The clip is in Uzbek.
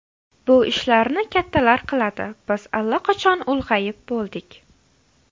Bu ishlarni kattalar qiladi, biz allaqachon ulg‘ayib bo‘ldik.